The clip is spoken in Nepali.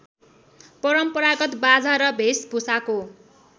परम्परागत बाजा र भेषभुषाको